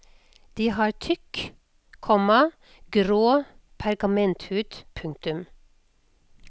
De har tykk, komma grå pergamenthud. punktum